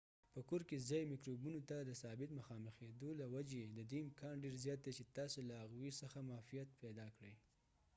په کور کې ځایي مکروبونو ته د ثابت مخامخیدو له وجې ددې امکان ډیر زیات دی چې تاسې له هغوی څخه معافیت پیدا کړی